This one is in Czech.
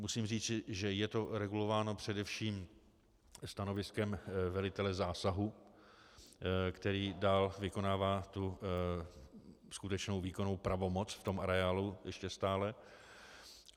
Musím říci, že je to regulováno především stanoviskem velitele zásahu, který dál vykonává tu skutečnou výkonnou pravomoc v tom areálu ještě stále.